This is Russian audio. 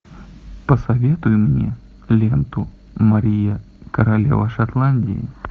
посоветуй мне ленту мария королева шотландии